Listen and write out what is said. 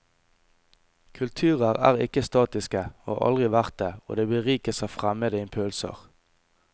Kulturer er ikke statiske, og har aldri vært det, og de berikes av fremmede impulser.